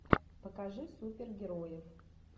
покажи супергероев